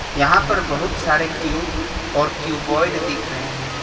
यहां पर बहुत सारे क्यूब और क्यूब्वॉयड दिख रहे हैं।